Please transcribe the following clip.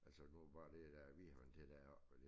Altså åbenbart det da virker til det er også og det